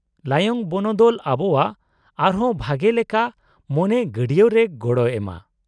-ᱞᱟᱭᱚᱝ ᱵᱚᱱᱚᱫᱚᱞ ᱟᱵᱚᱣᱟᱜ ᱟᱨᱦᱚᱸ ᱵᱷᱟᱜᱮ ᱞᱮᱠᱟ ᱢᱚᱱᱮ ᱜᱟᱹᱰᱭᱟᱹᱣ ᱨᱮ ᱜᱚᱲᱚᱭ ᱮᱢᱟ ᱾